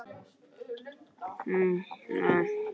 Gunnar Steinn atkvæðamikill að vanda